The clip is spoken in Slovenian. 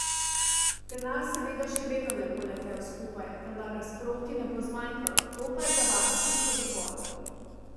Denar seveda še vedno ne bo letel skupaj, vendar ga za sproti ne bo zmanjkalo, to pa je za vas čisto dovolj.